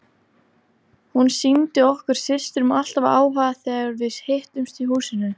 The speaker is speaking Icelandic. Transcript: Hún sýndi okkur systrum alltaf áhuga þegar við hittumst í húsinu.